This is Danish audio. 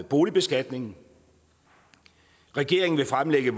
boligbeskatningen regeringen vil fremlægge